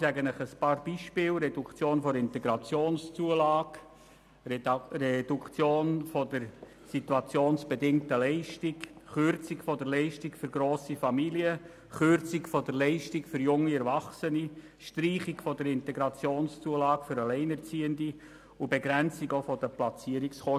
Ich nenne Ihnen einige Beispiele: Reduktion der Integrationszulage, Reduktion der situationsbedingten Leistungen, Kürzung der Leistung für grosse Familien, Kürzung der Leistung für junge Erwachsene, Streichung der Integrationszulage für Alleinerziehende und Begrenzung der Platzierungskosten.